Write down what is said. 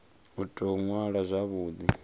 u tou ṅwala zwavhu ḓi